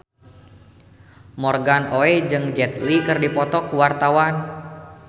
Morgan Oey jeung Jet Li keur dipoto ku wartawan